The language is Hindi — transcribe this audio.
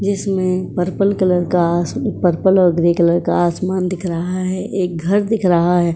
जिसमें पर्पल कलर का आस पर्पल और ग्रे कलर का आसमान दिख रहा है। एक घर दिख रहा है। --